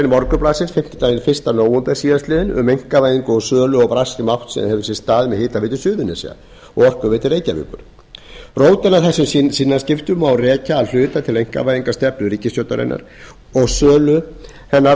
morgunblaðsins fimmtudaginn fyrsta nóvember síðastliðnum um einkavæðingu sölu og brask sem átt hefur sér stað með hitaveitu suðurnesja og orkuveitu reykjavíkur rótina að þessum sinnaskiptunum má rekja að hluta til einkavæðingarstefnu ríkisstjórnarinnar og sölu þess